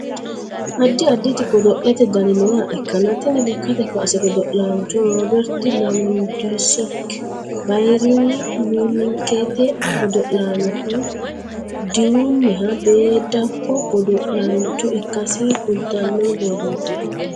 addi additi godo'lete dani nooha ikkanna tini lekkate kaase godo'laancho rooberti lewandoski bayeerni munikete godo'lannoha dirunniha beeddakko godo; laancho ikkasi kultanno borrooti